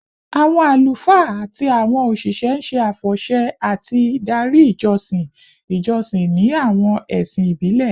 Awọn alufaa ati awọn oṣiṣẹ n ṣe afọṣẹ ati dari ijọsin ijọsin ni awọn ẹsin ibile